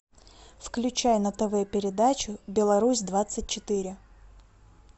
включай на тв передачу беларусь двадцать четыре